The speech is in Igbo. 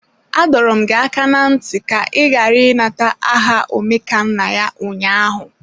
Adọọrọ m gị aka na ntị ka ị ghara ịnata aha Omekannaya ụnyaahụ!